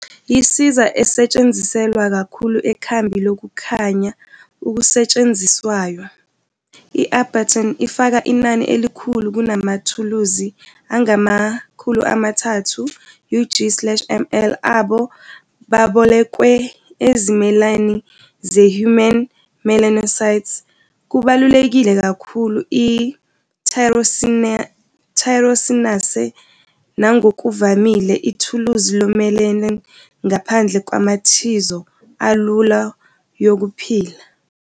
Yisiza esetshenziselwa kakhulu ekhambi lokukhanya okusetshenziswayo, i-Arbutin ifaka inani elikhulu kunamathuluzi angama-300 ug slash mL abo babolekwe ezimeleni zehuman melanocytes kubalulekile kakhulu i-tyrosinase nangokuvamile ithuluzi lomelanin ngaphandle kwamathizo alula yokuphila.